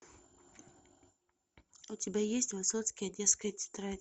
у тебя есть высоцкий одесская тетрадь